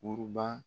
Buruba